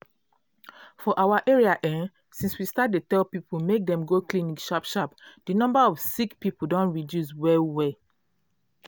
for our area[um]since we start dey tell people make dem go clinic sharp sharp di number of sick people don reduce well well.